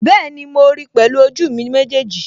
Bẹ́ẹ̀ni, mo ríi pẹ̀lú ojú mi méjèèjì